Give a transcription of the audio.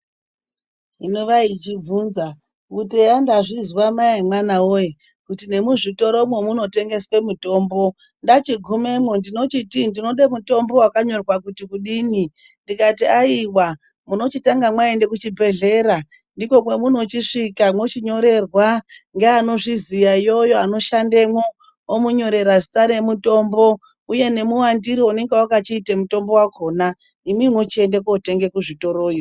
Hino vaichibvunza kuti eya ndazvizwa mai emwana woye kuti nemuzvitoromo munotengeswe mutombo. Ndachigumemo ndinochiti ndinoda mutombo wakanyora kuti kudini. Ndikati aiwa munochitanga mwaenda kuchibhedhlera ndiko kwamunochisvika mochinyorerwa ngeanozviziyayo anoshandemo omunyorera zita remutombo uye nemuwandiro unenge wakachiita mutombo wakona. Imwi mochienda kotenge kuzvitoroyo.